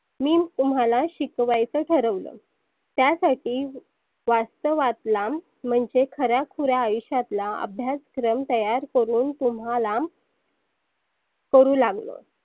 मी तुम्हाला शिकवायच ठरवलं. त्यासाठी वास्तवातला म्हणजे खऱ्या खुऱ्या आयुष्यातला अभ्यासक्रम तयार करुण तुम्हाला करु लागलो.